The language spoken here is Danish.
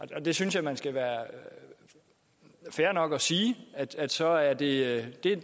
det det synes jeg man skal være fair nok at sige altså at det